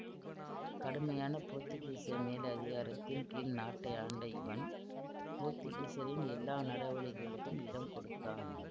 கடுமையான போத்துக்கீச மேலதிகாரத்தின் கீழ் நாட்டை ஆண்ட இவன் போத்துக்கீசரின் எல்லா நடவடிகைகளுக்கும் இடம் கொடுத்தான்